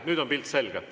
Nüüd on pilt selge.